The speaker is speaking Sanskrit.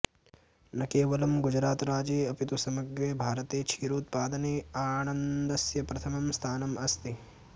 न केवलं गुजरातराज्ये अपि तु समग्रे भारते क्षीरोत्पादने आणन्दस्य प्रथमं स्थानम् अस्ति